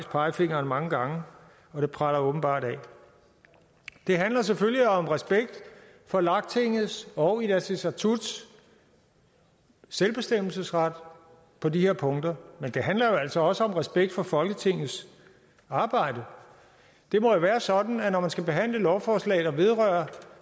pegefingeren mange gange og det preller åbenbart af det handler selvfølgelig om respekt for lagtingets og inatsisartuts selvbestemmelsesret på de her punkter men det handler jo altså også om respekt for folketingets arbejde det må jo være sådan når man skal behandle lovforslag der vedrører